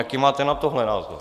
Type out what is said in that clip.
Jaký máte na tohle názor?